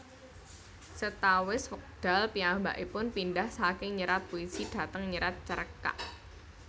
Sawetawis wekdal piyambakipun pindhah saking nyerat puisi dhateng nyerat cerkak